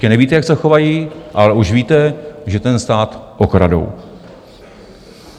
Ještě nevíte, jak se chovají, ale už víte, že ten stát okradou.